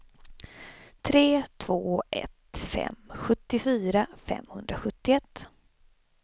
tre två ett fem sjuttiofyra femhundrasjuttioett